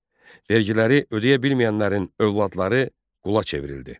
Vergiləri ödəyə bilməyənlərin övladları qula çevrildi.